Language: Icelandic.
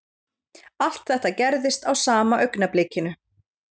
Allt þetta gerðist á sama augnablikinu